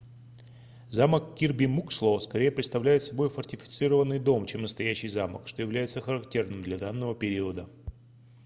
замок кирби муксло скорее представляет собой фортифицированный дом чем настоящий замок что является характерным для данного периода